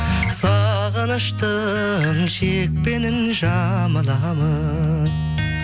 сағыныштың шекпенін жамыламын